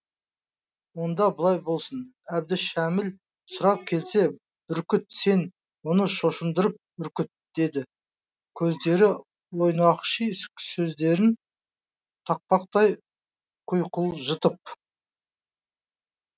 онда былай болсын әбдішәміл сұрап келсе бүркіт сен оны шошындырып үркіт деді көздері ойнақши сөздерін тақпақтай құйқылжытып